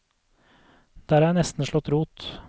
Der har jeg nesten slått rot.